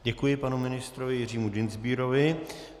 Děkuji panu ministrovi Jiřímu Dienstbierovi.